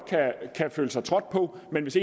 kan føle sig trådt på men hvis